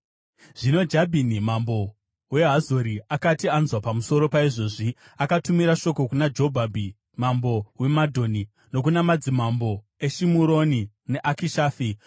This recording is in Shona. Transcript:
Zvino Jabhini mambo weHazori akati anzwa pamusoro paizvozvi, akatumira shoko kuna Jobhabhi mambo weMadhoni, nokuna madzimambo eShimuroni neAkishafi,